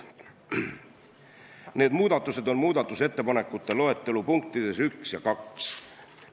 Need on muudatusettepanekute loetelu punktid nr 1 ja 2.